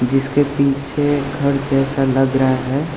जिसके पीछे घर जैसा लग रहा है।